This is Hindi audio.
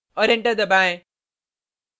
और enter दबाएँ